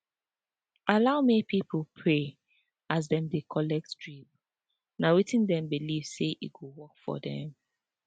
allow make pipo pray as dem dey dey collet drip na wetin dem believe say e go work for dem